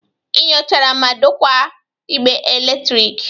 Ị nyochara ma dokwaa igbe eletrik.